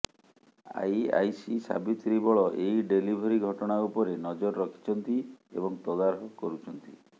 IAC Savitri Bal ଏହି delivery ଘଟଣା ଉପରେ ନଜର ରଖିଛନ୍ତି ଏବଂ ତଦାରଖ କରୁଛନ୍ତି